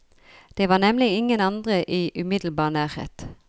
Det var nemlig ingen andre i umiddelbar nærhet.